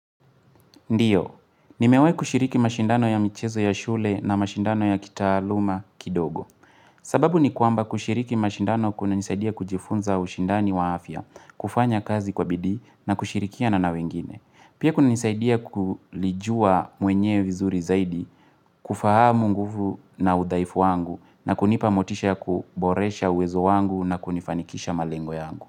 Ndio, nimewahi kushiriki mashindano ya michezo ya shule na mashindano ya kitaaluma kidogo. Sababu ni kwamba kushiriki mashindano kunanisaidia kujifunza ushindani wa afya, kufanya kazi kwa bidii na kushirikiana na wengine. Pia kunanisaidia kulijua mwenyewe vizuri zaidi, kufahamu nguvu na udhaifu wangu na kunipa motisha ya kuboresha uwezo wangu na kunifanikisha malengo yangu.